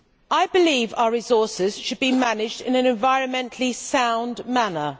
I believe our resources should be managed in an environmentally sound manner.